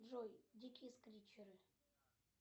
джой дикие скритчеры